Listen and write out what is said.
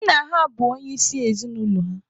Nna ha bụ onye isi ezinụlọ ha.